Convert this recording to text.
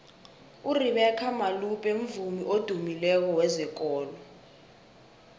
urebeca malope mvumi odumileko wezekolo